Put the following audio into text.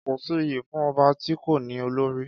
Kọ si ìyí fún ọbà tí kò ní òlórì